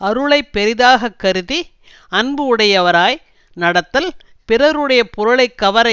அருளை பெரிதாகக்கருதி அன்பு உடையவராய் நடத்தல் பிறருடைய பொருளைக்கவர